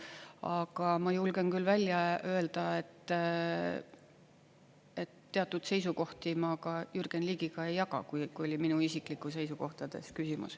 Aga ma julgen küll välja öelda, et teatud seisukohti ma ka Jürgen Ligiga ei jaga, kui oli minu isiklikes seisukohtades küsimus.